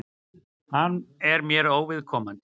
Hann er mér óviðkomandi.